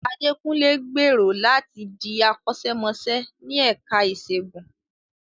Adekunle gbèrò láti di akọ́ṣẹ́mọṣẹ́ ní ẹ̀ka ìṣègùn.